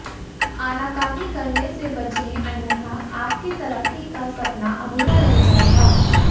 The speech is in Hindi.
आनाकानी करने से बचें अन्यथा आपकी तरक्की का सपना अधूरा रह जाएगा